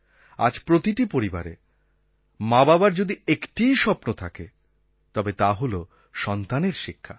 আজ প্রতিটি পরিবারে মাবাবার যদি একটিই স্বপ্ন থাকে তবে তা হল সন্তানের শিক্ষা